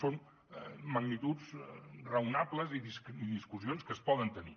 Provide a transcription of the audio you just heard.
són magnituds raonables i discussions que es poden tenir